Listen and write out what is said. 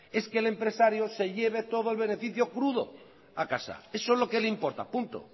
es que el empresario se lleve todo el beneficio crudo a casa eso es lo que le importa punto